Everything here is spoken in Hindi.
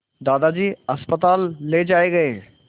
दादाजी अस्पताल ले जाए गए